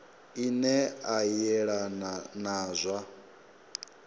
ine a yelana na zwa